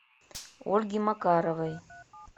ольги макаровой